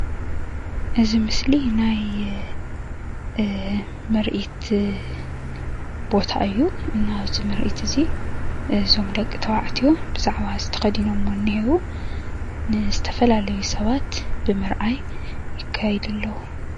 እዚ ምስሊ ናይ ምርኢት ቦታ እዩ ናብዚ ምርኢት እዚ እዞም ደቂ ተባዕትዮ ብዛዕባ እዚ ተከዲኖሞ እኒሀዉ ዝተፈላለዩ ስባት ብምርአይ ይካየዱ አለዉ፡፡